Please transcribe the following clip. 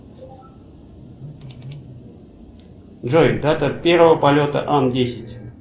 джой дата первого полета ан десять